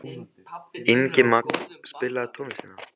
Ingimagn, spilaðu tónlist.